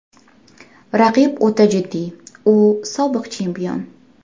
Raqib o‘ta jiddiy, u sobiq chempion.